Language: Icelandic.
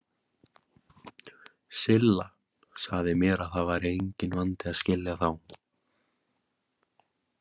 Silla sagði mér að það væri enginn vandi að skilja þá.